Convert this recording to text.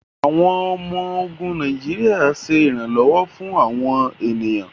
Awọn ọmọ-ogun Nàìjíríà ṣe iranlọwọ fún awọn ènìyàn